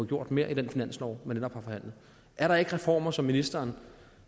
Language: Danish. gjort mere i den finanslov man netop har forhandlet er der ikke reformer som ministeren